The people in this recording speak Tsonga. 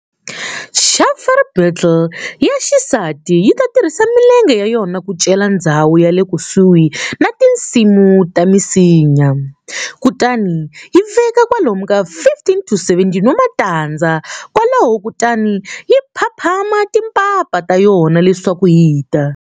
Chafer beetle ya xisati yita tirhisa milenge ya yona ku cela ndzhawu yale kusuhi na timintsu ta misinya, kutani yi veka kwalomu ka 15-17 wa matandza kwalaho kutani yi phaphama timpapa ta yona leswaku yita.